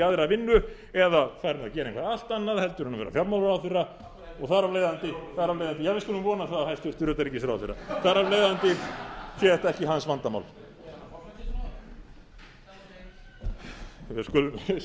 aðra vinnu eða farinn að gera eitthvað allt annað heldur en að vera fjármálaráðherra og þar af leiðandi já við skulum vona það hæstvirtur utanríkisráðherra þar af leiðandi sé þetta ekki hans vandamál við skulum svo sannarlega